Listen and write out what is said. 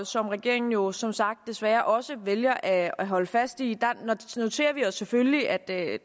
som regeringen jo som sagt desværre også vælger at at holde fast i noterer vi os selvfølgelig at der